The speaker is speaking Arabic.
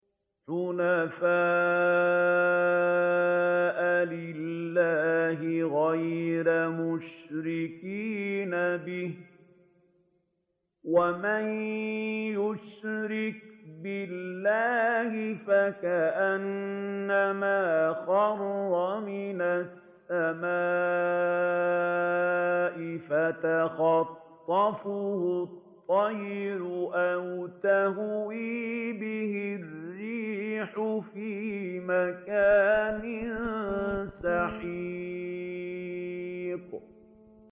حُنَفَاءَ لِلَّهِ غَيْرَ مُشْرِكِينَ بِهِ ۚ وَمَن يُشْرِكْ بِاللَّهِ فَكَأَنَّمَا خَرَّ مِنَ السَّمَاءِ فَتَخْطَفُهُ الطَّيْرُ أَوْ تَهْوِي بِهِ الرِّيحُ فِي مَكَانٍ سَحِيقٍ